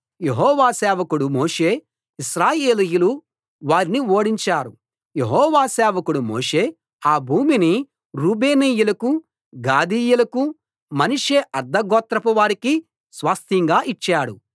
యెహోవా సేవకుడు మోషే ఇశ్రాయేలీయులూ వారిని ఓడించారు యెహోవా సేవకుడు మోషే ఆ భూమిని రూబేనీయులకూ గాదీయులకూ మనష్షే అర్థగోత్రపు వారికీ స్వాస్థ్యంగా ఇచ్చాడు